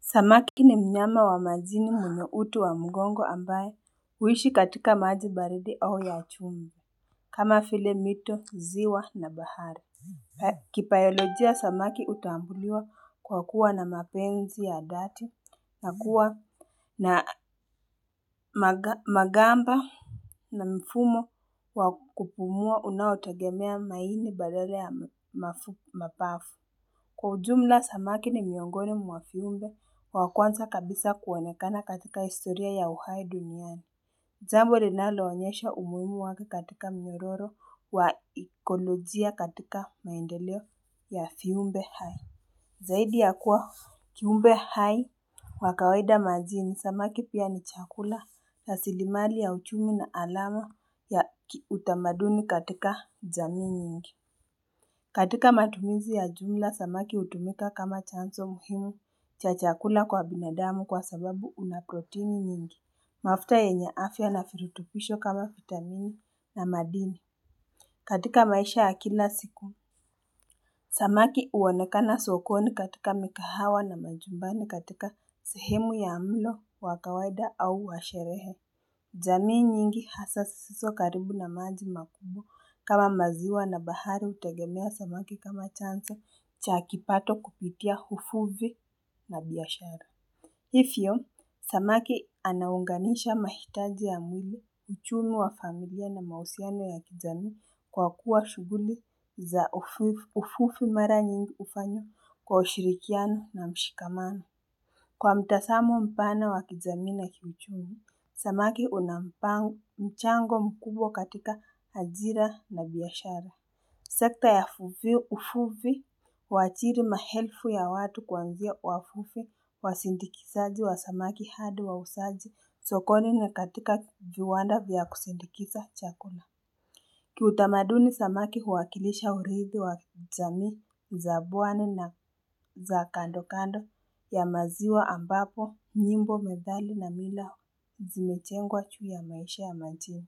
Samaki ni mnyama wa majini mwenye uti wa mgongo ambaye huishi katika maji baridi au ya chumvi kama vile mito ziwa na bahari Kibayolojia samaki hutambuliwa kwa kuwa na mapenzi ya dhati na kuwa na magamba na mfumo wakupumua unaotegemea maini badala ya mapafu Kwa ujumla samaki ni miongoni mwa viumbe wa kwanza kabisa kuoenekana katika historia ya uhai duniani jambo linaloonyesha umuhimu wake katika miroro wa ekolojia katika maendeleo ya viumbe hai Zaidi ya kuwa kiumbe hai wakawaida majini samaki pia ni chakula asilimali ya uchumi na alama ya utamaduni katika jamii nyingi katika matumizi ya jumla, samaki hutumika kama chanzo muhimu cha chakula kwa binadamu kwa sababu unaproteini nyingi. Mafuta yenye afya na virutupisho kama vitamini na madini. Katika maisha ya kila siku, samaki huonekana sokoni katika mikahawa na majumbani katika sehemu ya mlo, wakawaida au washerehe. Jamii nyingi hasa zisizo karibu na maji makubwa kama maziwa na bahari hutegemea samaki kama chanzo. Cha kipato kupitia uvuvi na biashara. Hivyo, samaki anaunganisha mahitaji ya mwili uchumi wa familia na mahusiano ya kijamii kwa kuwa shughuli za uvuvi mara nyingi hufanya kwa ushirikiano na mshikamano. Kwa mtazamo mpana wa kijamii na kizami, samaki unampangu mchango mkubwa katika ajira na biashara. Sekta ya uvuvi huajiri maelfu ya watu kuanzia wavuvi wasindikizaji wa samaki hadi wauzaji sokoni katika viwanda vya kusindikiza chakula. Kiutamaduni samaki huwakilisha urithi wa jamii, za pwani na za kando kando ya maziwa ambapo, nyimbo, methali na mila zimejengwa ju ya maisha ya majini.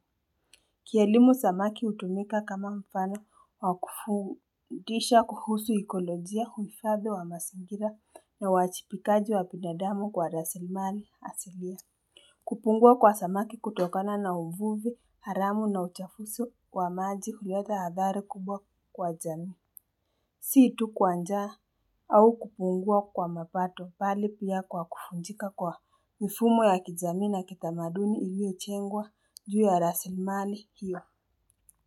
Kielimu samaki hutumika kama mfano wakufundisha kuhusu ekolojia uhifadhi wa mazingira na wajibikaji wa binadamu kwa raslimali asilia. Kupungua kwa samaki hutokana na umvuvi, haramu na uchafuzi wa maji huleta athari kubwa kwa jamii. Si tu kwa njaa au kupungua kwa mapato bali pia kwa kuvunjika kwa mifumo ya kijamii na kitamaduni iliyojengwa juu ya raslimali hiyo.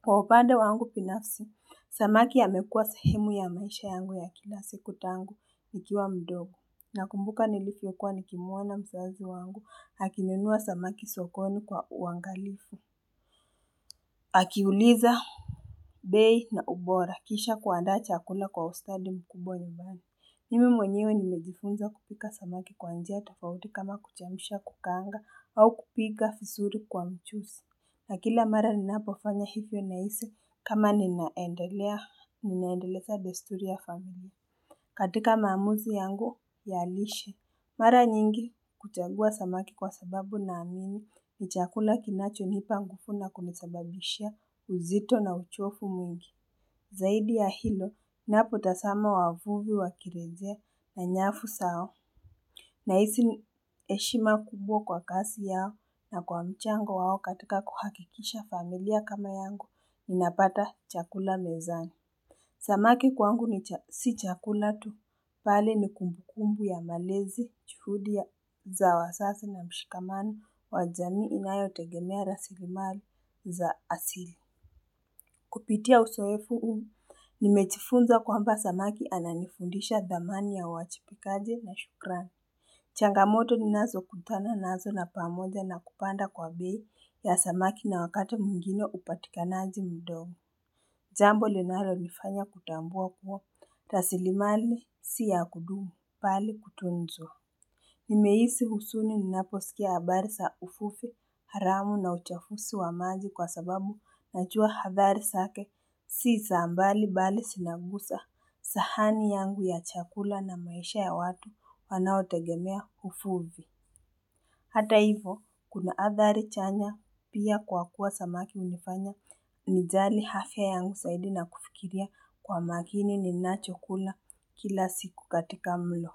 Kwa upande wangu binafsi, samaki amekuwa sehemu ya maisha yangu ya kila siku tangu nikiwa mdogo nakumbuka nilivyokuwa nikimuona mzazi wangu akinunua samaki sokoni kwa uangalifu. Akiuliza. Bei na ubora kisha kuanda chakula kwa ustadi mkubwa nidhani. Mimi mwenyewe nimejifunza kupika samaki kwa njia tofauti kama kuchemsha kukaanga au kupiga vizuri kwa mchuzi. Na kila mara ninapofanya hivyo nahisi kama ninaendelea ninaendelezea desturi ya familia. Katika maamuzi yangu ya lishe. Mara nyingi kuchagua samaki kwa sababu na amini ni chakula kinachonipa nguvu na kunisababisha uzito na uchovu mwingi. Zaidi ya hilo, napotazama wavuvi wakirejea na nyafu zao. Na hisi heshima kubwa kwa kazi yao na kwa mchango wao katika kuhakikisha familia kama yangu, inapata chakula mezani. Samaki kwangu si chakula tu, pale ni kumbukumbu ya malezi, juhudi, za wazazi na mshikamano, wa jamii inayotegemea raslimali za asili. Kupitia uzoefu huu, nimejifunza kwamba samaki ananifundisha dhamani ya wajibikaji na shukrani. Changamoto ninazo kutana nazo na pamoja na kupanda kwa bei ya samaki na wakati mwingine upatikanaji mdogo. Jambo linalonifanya kutambua kuwa, raslimali si ya kudumu, bali kutunzwa. Nimehisi huzuni ninaposikia habari za uvuvi, haramu na uchafuzi wa maji kwa sababu najua hadhari zake. Si za mbali mbali sinaguza sahani yangu ya chakula na maisha ya watu wanaotegemea uvuvii. Hata hivo, kuna athari chanya pia kwa kuwa samaki hunifanya ni jali afya yangu zaidi na kufikiria kwa makini ni nacho kula kila siku katika mlo.